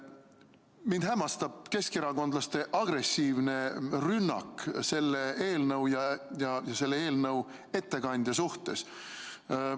Mind hämmastab keskerakondlaste agressiivne rünnak selle eelnõu ja selle eelnõu ettekandja vastu.